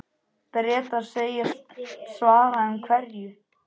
Bretar segjast svara, en hverju?